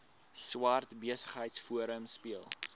swart besigheidsforum speel